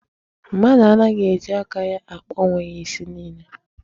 Mmadụ anaghị eji aka ya akpa onwe ya isi niile.